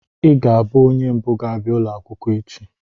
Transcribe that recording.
Ị ga-abụ onye mbụ ga-abịa ụlọ akwụkwọ echi!